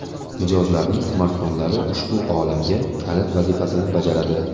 Mijozlarning smartfonlari ushbu olamga kalit vazifasini bajaradi.